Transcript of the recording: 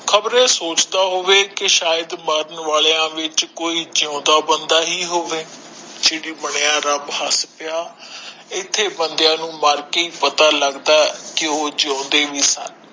ਖਬਰੇ ਸੋਚਦਾ ਹੋਵੇ ਕਿ ਮਾਰਨ ਵਾਲਿਆਂ ਵਿਚ ਕੋਈ ਜਿਉਂਦਾ ਹੋਇਆ ਵੀ ਹੋਵੇ ਇੱਥੇ ਚਰੀ ਬਣਿਆ ਰੱਬ ਹਾਸਪਿਆ ਵੀ ਇੱਥੇ ਬੰਦਿਆ ਨੂੰ ਮਾਰ ਕੇ ਪਤਾ ਲਗਦਾ ਵੀ ਉਹ ਜਿਉਂਦੇ ਵੀ ਹੋਣ